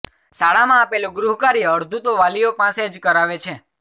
શાળામાં આપેલું ગૃહકાર્ય અડધું તો વાલીઓ પાસે જ કરાવે છે